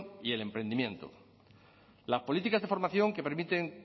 y el emprendimiento las políticas de formación que permiten